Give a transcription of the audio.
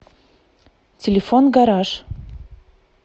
телефон гараж